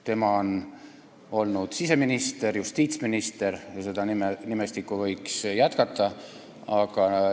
Tema on olnud siseminister, justiitsminister ja seda loetelu võiks jätkata.